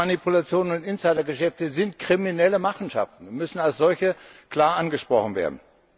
Marktmanipulationen und Insidergeschäfte sind kriminelle Machenschaften und müssen als solche klar angesprochen werden.